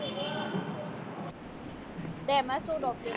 તેમાં શું document